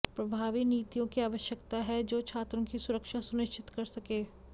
प्रभावी नीतियों की आवश्यकता है जो छात्रों की सुरक्षा सुनिश्चित कर सके